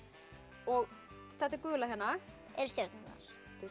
og þetta gula hérna eru stjörnurnar